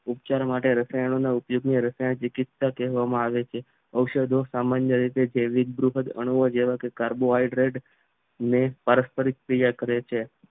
ઉપચારો માટે રસાયણના ઉપયોગને રસાયણ ચિકીત્સા કહેવામાં આવે છે ઔષધો સામાન્ય રીતે જેવીધ બૃહદ ગુણો જેવા કે કાર્બોહાઈડ્રેડ ને પારસ્પરિક ક્રિયા કરે છે